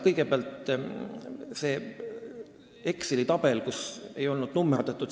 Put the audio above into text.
Kõigepealt sellest Exceli tabelist, kus ei olnud numeratsiooni.